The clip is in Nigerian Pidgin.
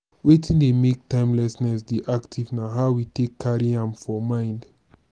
wetin dey make timelessness dey active na how we take carry am for mind